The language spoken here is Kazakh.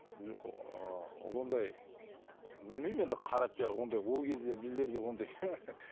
жоқ ыыы ондай білмеймін енді қара пиар ондай ол кезде біздерде